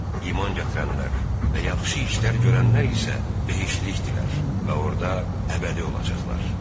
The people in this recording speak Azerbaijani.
İman gətirənlər və yaxşı işlər görənlər isə behiştlikdirlər və orda əbədi qalacaqlar.